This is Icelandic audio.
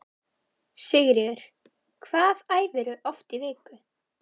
Sigríður: Hvað æfirðu oft í viku?